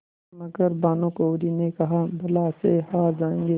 मगर भानकुँवरि ने कहाबला से हार जाऍंगे